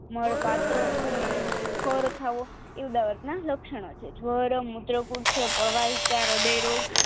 મળ પાતળો અને ફર થાવો એ ઉદવતના લક્ષણો છે જવર મૂત્રકુક્ષ પવાઈ કા હ્રદયરોગ